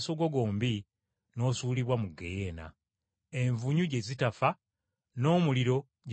n’osuulibwa mu ggeyeena, “envunyu gye zitafa n’omuliro gye gutazikira.